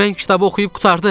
mən kitabı oxuyub qurtardım.